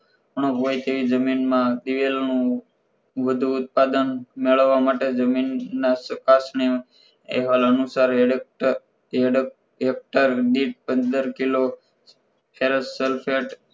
ઉણપ હોય તેવી જમીનમાં દિવેલ નું વધુ ઉત્પાદન મેળવવા માટે જમીનના ચકાસણી અહેવાલ અનુસાર હેડએક્ટર હેક્ટર દીઠ પંદર કિલો sulphet